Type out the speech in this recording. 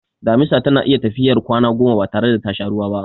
Damisa tana iya tafiyar kwana goma batare da tasha ruwa ba.